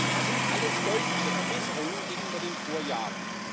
Das sind alles deutliche Verbesserungen gegenüber den Vorjahren.